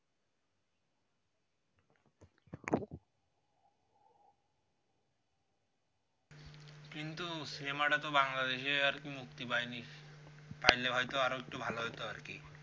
কিন্তু সিনেমা তো বাংলাদেশে আরকি মুক্তি পাইনি তাইলে হইত আরও একটু ভালো হইত আরকি